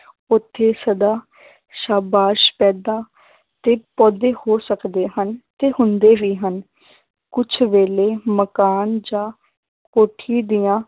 ਉੱਥੇ ਸਦਾ ਸਾਬਾ, ਸਫ਼ੈਦਾ ਤੇ ਪੌਦੇ ਹੋ ਸਕਦੇ ਹਨ, ਤੇ ਹੁੰਦੇ ਵੀ ਹਨ ਕੁਛ ਵੇਲੇ ਮਕਾਨ ਜਾਂ ਕੋਠੀ ਦੀਆਂ